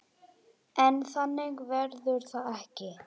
En þannig verður það ekki.